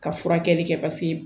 Ka furakɛli kɛ paseke